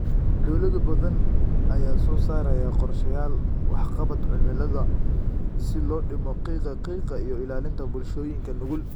Dawlado badan ayaa soo saaraya qorshayaal waxqabad cimilada si loo dhimo qiiqa qiiqa iyo ilaalinta bulshooyinka nugul.